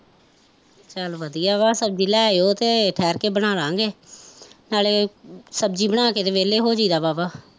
ਚੱਲ ਵਧੀਆ ਵਾਂ ਸਬਜ਼ੀ ਲੈ ਤੇ ਆਈਓ ਠਹਿਰਕੇ ਬਨਾਲਾਂਗੇ ਨਾਲੇ ਸਬਜ਼ੀ ਬਣਾ ਕੇ ਤੇ ਵੇਹਲੇ ਹੋ ਜਾਂਇਦਾਂ ਵਾਵਾਂ